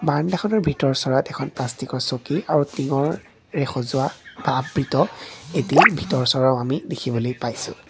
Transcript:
বাৰাণ্ডাখনৰ ভিতৰ চৰাত এখন প্লাষ্টিকৰ চকী আৰু তিংৰে সজোৱা এটা আবৃত এটি ভিতৰ চৰাও আমি দেখিবলৈ পাইছোঁ।